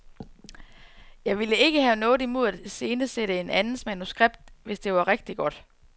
Jeg ville ikke have noget imod at iscenesætte en andens manuskript, hvis det var rigtig godt.